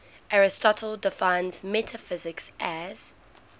aristotle defines metaphysics as